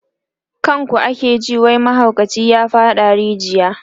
kan ku ake ji wai mahaukaci ya faɗa a rijiya